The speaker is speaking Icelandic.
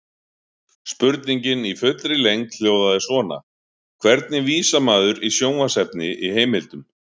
Spurningin í fullri lengd hljóðaði svona: Hvernig vísar maður í sjónvarpsefni í heimildum?